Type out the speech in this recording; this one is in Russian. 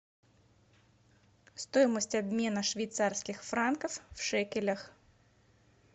стоимость обмена швейцарских франков в шекелях